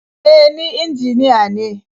E, ni injiniya ne.